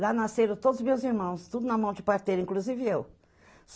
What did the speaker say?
Lá nasceram todos os meus irmãos, tudo na mão de parteira, inclusive eu.